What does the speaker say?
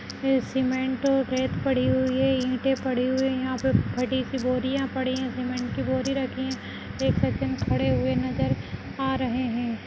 ये सिमेन्ट और रेत पड़ी हुई है ईंटे पड़ी हुई हैं यहाँ पे फटी सी बोरियाँ पड़ीं हैं सिमेन्ट की बोरियाँ रखी हैं एक सज्जन खड़े हुए नज़र आ रहें हैं ।